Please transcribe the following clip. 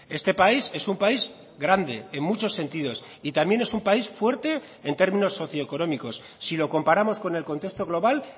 este país es un país grande en muchos sentidos y también es un país fuerte en términos socio económicos si lo comparamos con el contexto global